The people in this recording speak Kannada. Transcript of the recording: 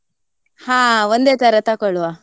ಹ ಒಂದೇ ತರ ತಕೊಳುವ.